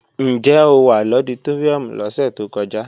Ǹjẹ́ o wà lọditóríùm lọ́sẹ̀ tó kọjá?